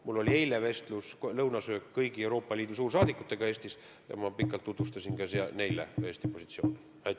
Mul oli eile lõunasöögil vestlus kõigi Euroopa Liidu riikide suursaadikutega Eestis ja ma pikalt tutvustasin ka neile Eesti positsiooni.